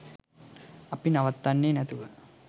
අපි නවත්තන්නේ නැතුව